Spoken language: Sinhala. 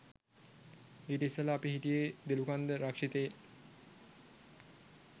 ඊට ඉස්සෙල්ලා අපි හිටියෙ දොළුකන්ද රක්ෂිතයේ